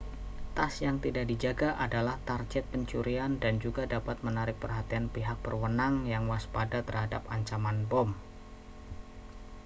tas yang tidak dijaga adalah target pencurian dan juga dapat menarik perhatian pihak berwenang yang waspada terhadap ancaman bom